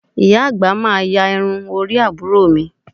Ìyá àgbà máa ya irun orí àbúrò mi